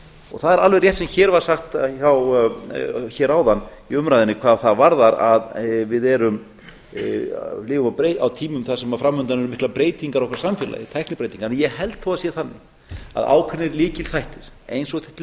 og það er alveg rétt sem hér var sagt hér áðan í umræðunni hvað það varðar að við lifum á tímum þar sem fram undan eru miklar breytingar á okkar samfélagi tæknibreytingar en ég held þó að það sé þannig að ákveðnir lykilþættir eins og til